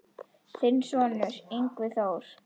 Þinn sonur, Yngvi Þór.